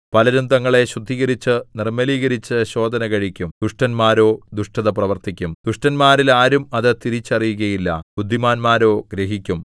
പലരും തങ്ങളെ ശുദ്ധീകരിച്ച് നിർമ്മലീകരിച്ച് ശോധനകഴിക്കും ദുഷ്ടന്മാരോ ദുഷ്ടത പ്രവർത്തിക്കും ദുഷ്ടന്മാരിൽ ആരും അത് തിരിച്ചറിയുകയില്ല ബുദ്ധിമാന്മാരോ ഗ്രഹിക്കും